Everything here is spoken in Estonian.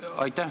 Aitäh!